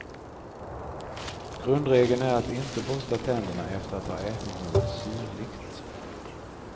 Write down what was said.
Grundregeln är att inte borsta tänderna efter att ha ätit något syrligt.